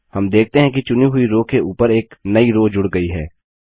हम देखते हैं कि चुनी हुई रो के ऊपर एक नई रो जूड़ गई है